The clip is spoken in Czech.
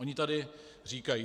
Oni tady říkají: